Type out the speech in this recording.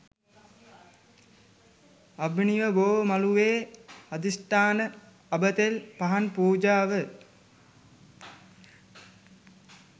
අබිනව බෝ මළුවේ අධිෂ්ඨාන අබ තෙල් පහන් පූජාව